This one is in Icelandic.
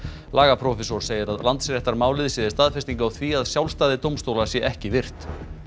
lagaprófessor segir að Landsréttarmálið sé staðfesting á því að sjálfstæði dómstóla sé ekki virt